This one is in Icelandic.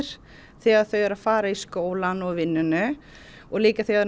þegar þau eru að fara í skólann og vinnuna og líka þegar